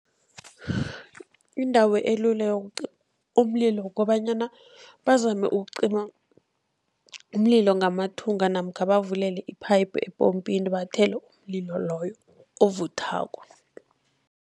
Indawo elula yokucima umlilo kukobanyana bazame ukucima umlilo ngamathunga, namkha bavulele iphayiphu epompini bathele umlilo loyo, ovuthako.